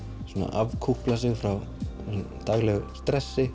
afkúplað sig frá daglegu